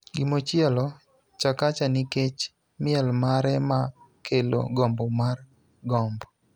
Gimochielo: Chakacha, nikech miel mare ma kelo gombo mar gombo,